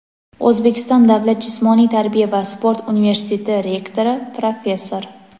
O‘zbekiston davlat jismoniy tarbiya va sport universiteti rektori, professor.